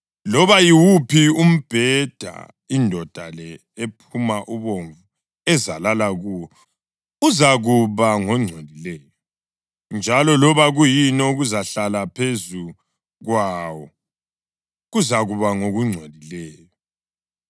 Loba yiwuphi umbheda indoda le ephuma ubovu ezalala kuwo, uzakuba ngongcolileyo, njalo loba kuyini okuzahlala phezu kwawo, kuzakuba ngokungcolileyo.